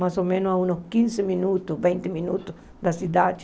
Mais ou menos a uns quinze minutos, vinte minutos da cidade.